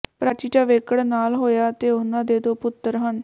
ਪ੍ਰਾਚੀ ਜਾਵੜੇਕਰ ਨਾਲ ਹੋਇਆ ਅਤੇ ਉਹਨਾਂ ਦੇ ਦੋ ਪੁੱਤਰ ਹਨ